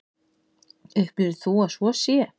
Upplifir þú að svo sé?